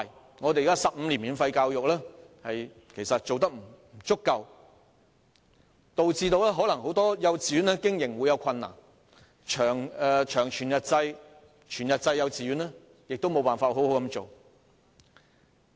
現行的15年免費教育其實做得並不足夠，或會導致很多幼稚園的經營出現困難，長全日制及全日制幼稚園無法好好運作。